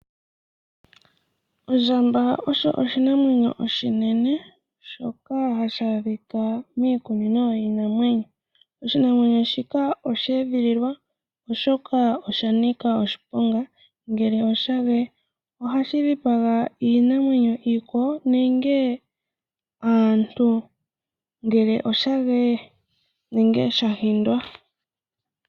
Ondjamba osho oshinamwenyo oshinene shoka hashi adhika miikunino yiinamwenyo. Oshinamwenyo shika osheedhililwa oshoka oshanika oshiponga ngele oshageye. Ohashi dhipaga iinamwenyo iikwawo nenge aantu ngele oshageye nenge shahindwa.